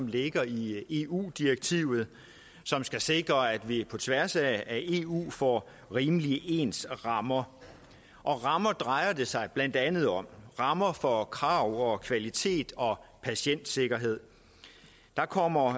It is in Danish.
ligger i eu direktivet som skal sikre at vi på tværs af eu får rimelig ens rammer rammer drejer det sig blandt andet om det rammer for krav og kvalitet og patientsikkerhed der kommer